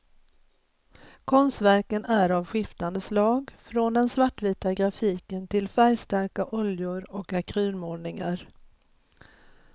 Konstverken är av skiftande slag, från den svartvita grafiken till färgstarka oljor och akrylmålningar.